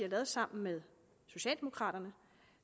lavet sammen med socialdemokraterne